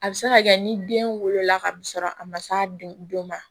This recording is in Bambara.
A bɛ se ka kɛ ni den wolola kasɔrɔ a ma s'a den don ma